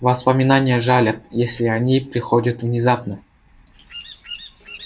воспоминания жалят если они приходят внезапно